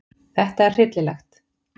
Þetta er hryllilegt.